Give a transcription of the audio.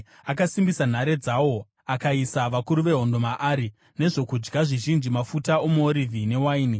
Akasimbisa nhare dzawo akaisa vakuru vehondo maari, nezvokudya zvizhinji, mafuta omuorivhi newaini.